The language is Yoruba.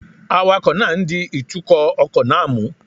Awakọ̀ náà ń di ìtukọ̀ ọkọ̀ náà mú